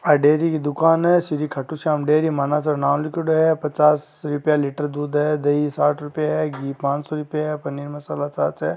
यह डेरी की दुकान है। श्री खादु शयाम डेरी मानासर नाम लिखियोडो है। पचास रुपया लीटर दूध है। दही साठ रुपया है। घी पांच सो रूपया है। पनीर मसला छाछ है।